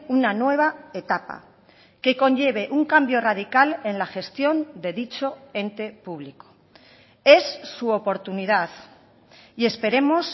una nueva etapa que conlleve un cambio radical en la gestión de dicho ente público es su oportunidad y esperemos